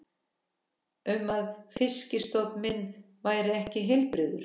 um að fisk- stofn minn væri ekki heilbrigður.